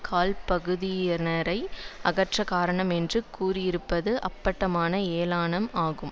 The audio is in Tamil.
கால் பகுதியினரை அகற்ற காரணம் என்று கூறியிருப்பது அப்பட்டமான ஏளனம் ஆகும்